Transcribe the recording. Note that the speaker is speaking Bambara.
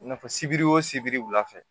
I n'a fɔ sibiri wo sibiri wula fɛ